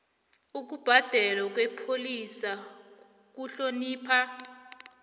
ukubhalelwa kwepholisa kuhlonipha